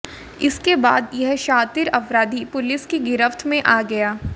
इसके बाद यह शातिर अपराधी पुलिस की गिरफ्त में आ गया